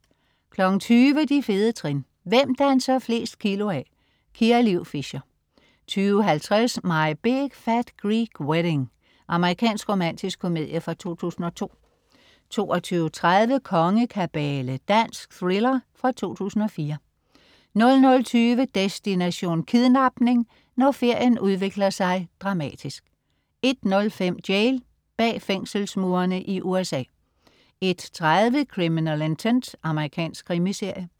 20.00 De fede trin. Hvem danser flest kilo af? Kia Liv Fischer 20.50 My Big Fat Greek Wedding. Amerikansk romantisk komedie fra 2002 22.30 Kongekabale. Dansk thriller fra 2004 00.20 Destination: Kidnapning. Når ferien udvikler sig dramatisk 01.05 Jail. Bag fængselsmurene i USA 01.30 Criminal Intent. Amerikansk krimiserie